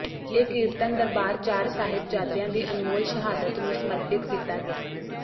ਇਹ ਕੀਰਤਨ ਦਰਬਾਰ ਚਾਰ ਸਾਹਿਬਜ਼ਾਦਿਆਂ ਦੀ ਅਨਮੋਲ ਸ਼ਹਾਦਤ ਨੂੰ ਸਮਰਪਿਤ ਕੀਤਾ ਗਿਆ